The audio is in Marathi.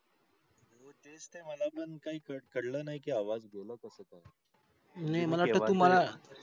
हो तेच ते मला पण कळल नाही कि आवाज गेला कसा काय नाही मला वाटत तू मला